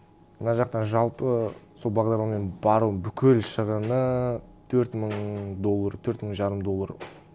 мына жақта жалпы сол бағдарламамен барудың бүкіл шығыны төрт мың доллар төрт мың жарым доллар